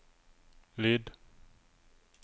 lyd